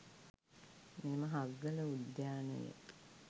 මෙම හග්ගල උද්‍යානය